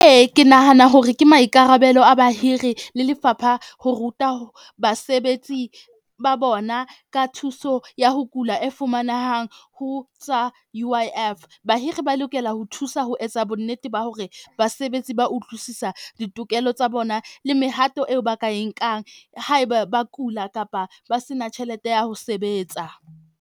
Ee, ke nahana hore ke maikarabelo a bahiri le lefapha ho ruta basebetsi ba bona ka thuso ya ho kula e fumanehang ho tsa U_I_F. Bahiri ba lokela ho thusa ho etsa bonnete ba hore basebetsi ba utlwisisa ditokelo tsa bona le mehato eo ba ka e nkang haeba ba kula kapa ba se na tjhelete ya ho sebetsa.